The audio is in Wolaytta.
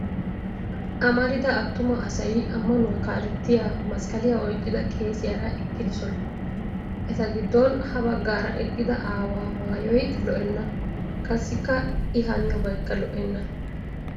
Amarida attuma asay ammanuwa kaalettiya masqqaliya oyqqida qeesiyaara eqqidosona. Eti giddon ha baggaara eqqida aawaa maayoy lo'enna qassikka I haniyobaykka lo'enna.